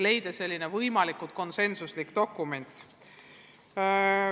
Vaja on luua võimalikult konsensuslik dokument.